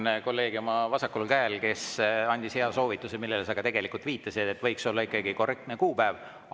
Tänan kolleegi oma vasakul käel, kes andis hea soovituse, millele sa ka viitasid, et võiks olla ikkagi korrektne kuupäev.